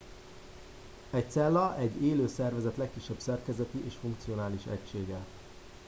egy cella egy élő szervezet legkisebb szerkezeti és funkcionális egysége